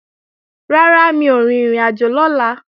Rárá, mi ò rin ìrìnàjò lọ́la